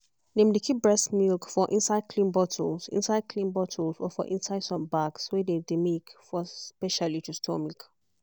dem dey keep breast milk for inside clean bottles inside clean bottles or for inside some bags wey dey make for specially to store milk.